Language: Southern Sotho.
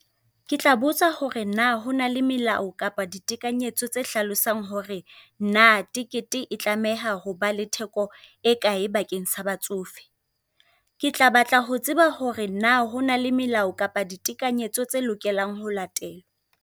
Ke tla botsa hore na hona le melao kapa ditekanyetso tse hlalosang hore na tekete e tlameha ho ba le theko e kae bakeng sa batsofe. Ke tla batla ho tseba hore na hona le melao kapa ditekanyetso tsa lokelang ho latela.